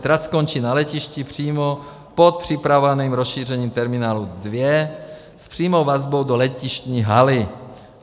Trať skončí na letišti přímo pod připravovaným rozšířením terminálu 2 s přímou vazbou do letištní haly.